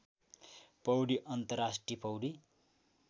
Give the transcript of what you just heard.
पौडी अन्तर्राष्ट्रिय पौडी